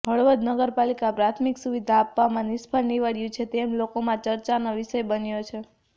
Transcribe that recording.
હળવદ નગરપાલિકા પ્રાથમિક સુવિધા આપવામાં નિષ્ફળ નિવડયું છે તેમ લોકોમાં ચર્ચાનો વિષય બન્યો છે